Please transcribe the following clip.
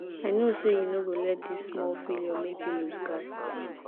i know sey you no go let dis small failure make you loose guard